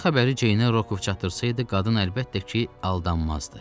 Qara xəbəri Ceynə Rokov çatdırsaydı qadın əlbəttə ki, aldanmazdı.